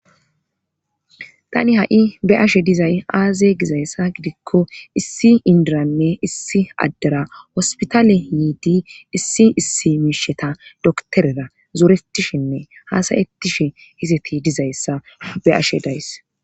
Tani ha7i be ashe dizay aaze gizayssa gidikko issi indiranne issi addera hospitaale hiidi issi issi miisheta doktorera zoretishinne haasayettishe hiseti dizayssa be ashe days